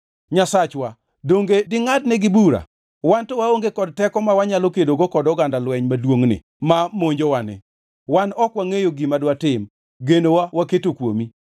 Nyasachwa, donge dingʼadnegi bura? Wan to waonge kod teko ma wanyalo kedogo kod oganda lweny maduongʼni ma monjowani. Wan ok wangʼeyo gima dwatim, genowa waketo kuomi.”